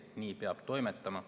Nii peab toimetama.